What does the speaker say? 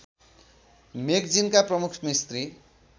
मेगजिनका प्रमुख मिस्त्री